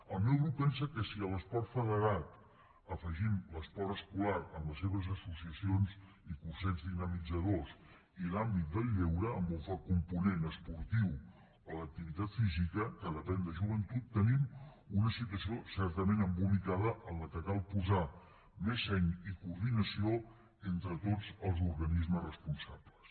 el meu grup pensa que si a l’esport federat afegim l’esport escolar amb les seves associacions i cursets dinamitzadors i l’àmbit del lleure amb un fort component esportiu o d’activitat física que depèn de joventut tenim una situació certament embolicada en què cal posar més seny i coordinació entre tots els organismes responsables